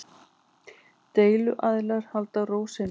Deiluaðilar haldi ró sinni